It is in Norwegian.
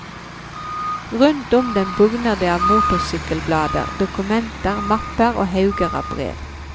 Rundt dem bugner det av motorsykkelblader, dokumenter, mapper og hauger av brev.